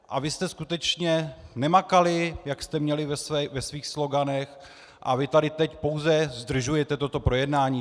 A vy jste skutečně nemakali, jak jste měli ve svých sloganech, a vy tady teď pouze zdržujete toto projednání.